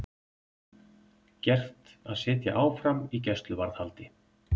Gert að sitja áfram í gæsluvarðhaldi